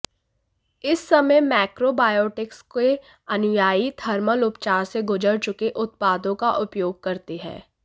इस समय मैक्रोबायोटिक्स के अनुयायी थर्मल उपचार से गुजर चुके उत्पादों का उपयोग करते हैं